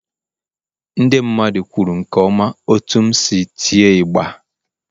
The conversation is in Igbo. Ndị mmadụ kwuru nke ọma otú m si tịe ịgbà.